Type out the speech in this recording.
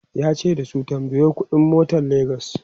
yace da su"tambayo ƙuɗi n motan legas!"